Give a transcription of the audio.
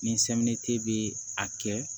Ni bɛ a kɛ